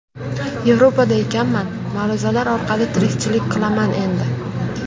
Yevropada ekanman, ma’ruzalar orqali tirikchilik qilaman endi.